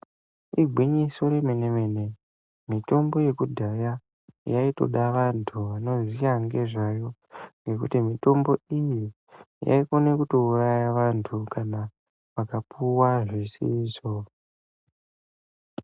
Igwinyiso remene- mene mitombo yekudhaya yaitoda vantu vanoziya ngezvayo ngekuti mitombo iyi yaikona kutouraya vantu kana vakapuwa zvisizvo.